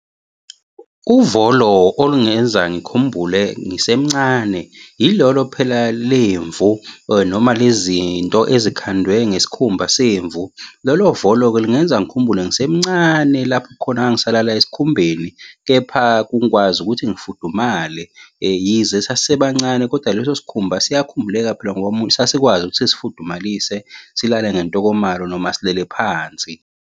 Uvolo olungenza ngikhumbule ngisemncane ilolo phela lemvu noma lezi nto ezikhandwe ngesikhumba semvu. Lolo volo-ke lungenza ngikhumbule ngisemncane lapho khona ngangisalala esikhumbeni kepha kukwazi ukuthi ngifudumale. Yize sasisebancane kodwa leso sikhumba siyakhumbuleka phela sasikwazi ukuthi sisifudumalise silale ngentokomalo noma silele phansi.